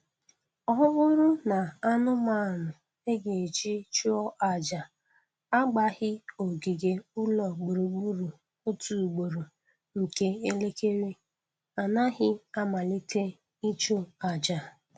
Ọ bụrụ na anụmanụ a ga-eji chụọ aja agbaghị ogige ụlọ gburugburu otu ugboro nke elekere, a naghị amalite ịchụ aja